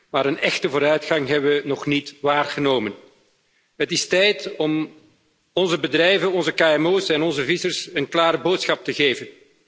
Maar een echte vooruitgang hebben we nog niet waargenomen. Het is tijd om onze bedrijven, onze kmo's en onze vissers een klare boodschap te geven.